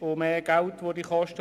Das würde natürlich mehr kosten.